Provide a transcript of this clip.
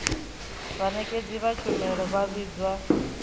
vhanekedzi vha tshumelo vha vhidzwa